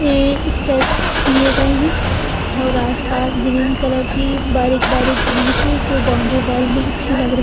ये स्टेप्स दिये गये हैं और आसपास ग्रीन कलर की बारीक बारीक घास हैं जो बॉउंडरी बॉल में अच्छी लग रही हैं --